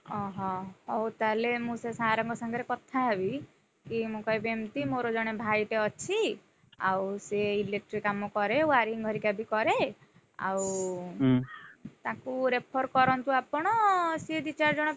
ଓହୋ, ହଉ ତାହେଲେ ମୁଁ ସେ sir ଙ୍କ ସାଙ୍ଗରେ କଥାହେବି, କି ମୁଁ କହିବି ଏମତି ମୋର ଜଣେ ଭାଇଟେ ଅଛି। ଆଉ ସେ electric କାମ କରେ wiring ହରିକା ବି କରେ। ଆଉ ତାକୁ refer କରନ୍ତୁ ଆପଣ ସେ ଦି ଚାର୍ ଜଣ।